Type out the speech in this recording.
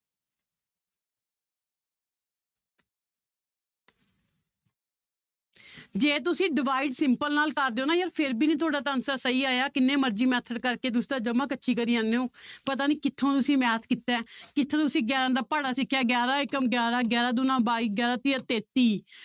ਜੇ ਤੁਸੀਂ divide simple ਨਾਲ ਕਰ ਦਓ ਨਾ ਯਾਰ ਫਿਰ ਵੀ ਨੀ ਤੁਹਾਡਾ ਤਾਂ answer ਸਹੀ ਆਇਆ ਕਿੰਨੇ ਮਰਜ਼ੀ method ਕਰਕੇ ਤੁਸੀਂ ਤਾਂ ਜਮਾ ਕੱਚੀ ਕਰੀ ਜਾਂਦੇ ਹੋ ਪਤਾ ਨੀ ਕਿੱਥੋਂ ਤੁਸੀਂ math ਕੀਤਾ ਹੈ ਕਿੱਥੋਂ ਤੁਸੀਂ ਗਿਆਰਾਂ ਦਾ ਪਹਾੜਾ ਸਿੱਖਿਆ, ਗਿਆਰਾਂ ਏਕਮ ਗਿਆਰਾਂ, ਗਿਆਰਾਂ ਦੂਣਾ ਬਾਈ, ਗਿਆਰਾਂ ਤੀਆ ਤੇਤੀ